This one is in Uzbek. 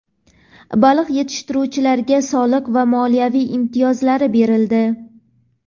Baliq yetishtiruvchilarga soliq va moliya imtiyozlari berildi.